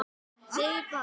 Hvaða orð notarðu oftast?